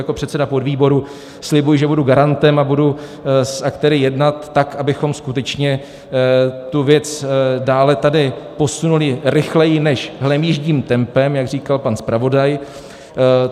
Jako předseda podvýboru slibuji, že budu garantem a budu s aktéry jednat tak, abychom skutečně tu věc dále tady posunuli rychleji než hlemýždím tempem, jak říkal pan zpravodaj.